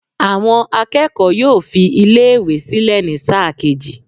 Àwọn akẹ́kọ̀ọ́ yóò fi iléèwé sílẹ̀ ní sáà kejì